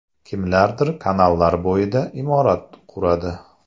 Kimlardir kanallar bo‘yida imorat quradi.